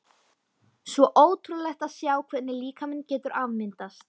Svo ótrúlegt að sjá hvernig líkaminn getur afmyndast.